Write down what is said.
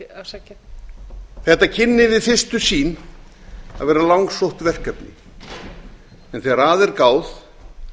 skynhefta þetta kynni við fyrstu sýn að vera langsótt verkefni en þegar að er gáð